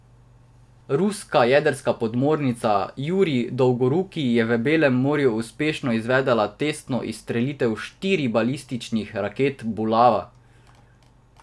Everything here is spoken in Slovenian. Ruska jedrska podmornica Jurij Dolgoruki je v Belem morju uspešno izvedla testno izstrelitev štirih balističnih raket Bulava.